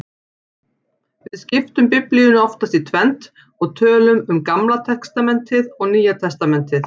Við skiptum Biblíunni oftast í tvennt og tölum um Gamla testamentið og Nýja testamentið.